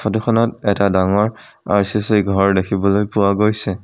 ফটোখনত এটা ডাঙৰ আৰ_চি_চি ঘৰ দেখিবলৈ পোৱা গৈছে।